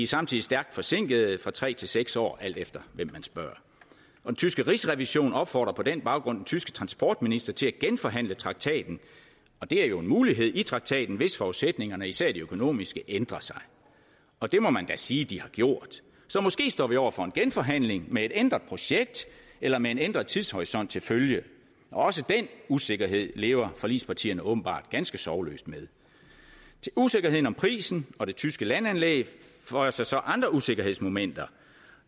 samtidig stærkt forsinkede nemlig tre til seks år alt efter hvem man spørger den tyske rigsrevision opfordrer på den baggrund den tyske transportminister til at genforhandle traktaten og det er jo en mulighed i traktaten hvis forudsætningerne især de økonomiske ændrer sig og det må man da sige at de har gjort så måske står vi over for en genforhandling med et ændret projekt eller med en ændret tidshorisont til følge også den usikkerhed lever forligspartierne åbenbart ganske sorgløst med usikkerhed om prisen og det tyske landanlæg føjer sig til andre usikkerhedsmomenter